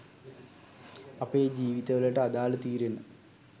අපේ ජීවිත වලට අදාල තීරණ